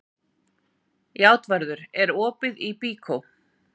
Játvarður, er opið í Byko?